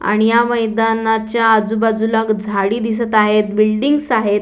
आणि या मैदानाच्या आजूबाजूला ग झाडी दिसत आहेत बिल्डिंगस् आहेत.